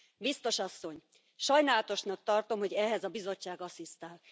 Biztos asszony, sajnálatosnak tartom, hogy ehhez a Bizottság asszisztál.